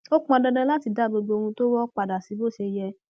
ó pọn dandan láti dá gbogbo ohun tó wọ padà sí bó ṣe yẹ